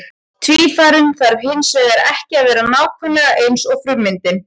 Tvífarinn þarf hins vegar ekki að vera nákvæmlega eins og frummyndin.